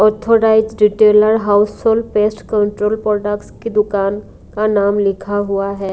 Orthodox retailer household pest control products की दुकान का नाम लिखा हुआ है।